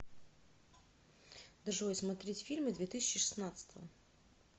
джой смотреть фильмы две тысячи шестнадцатого